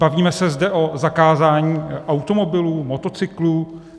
Bavíme se zde o zakázání automobilů, motocyklů?